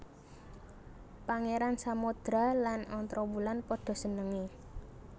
Pangeran Samodra lan Ontrowulan padha senenge